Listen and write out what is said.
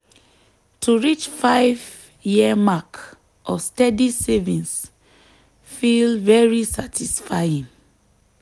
to reach five-year mark of steady savings feel very satisfying.